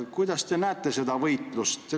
Kuidas te seda võitlust näete?